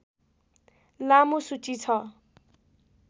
लामो सूची छ